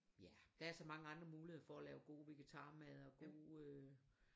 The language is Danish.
Ja der er så mange andre muligheder for at lave god vegetarmad og god øh